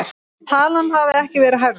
Talan hafi ekki verið hærri